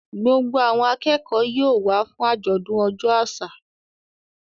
Gbogbo àwọn akẹ́kọ̀ọ́ yóò wá fún àjọ̀dún ọjọ́ àṣà.